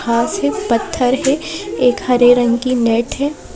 घास है पत्थर है एक हरे रंग की नेट है।